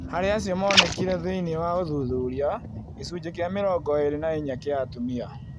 Harĩ acio monekire thĩinĩ wa ũthuthuria, gĩcunjĩ kĩa mĩrongo ĩĩrĩ na inya kĩa atumia